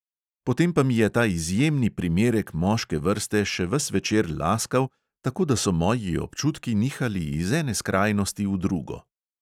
Potem pa mi je ta izjemni primerek moške vrste še ves večer laskal, tako da so moji občutki nihali iz ene skrajnosti v drugo.